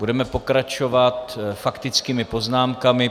Budeme pokračovat faktickými poznámkami.